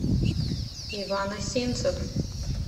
иван осинцев